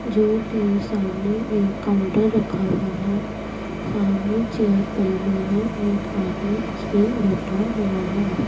जोकि सामने एक काउंटर रखा हुआ है सामने चेयर पड़ी हुई है एक आदमी उसपे बैठा हुआ है।